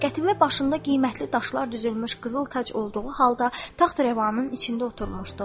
Qətibə başında qiymətli daşlar düzülmüş qızıl tac olduğu halda taxtrəvanın içində oturmuşdu.